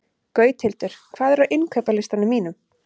Gauthildur, hvað er á innkaupalistanum mínum?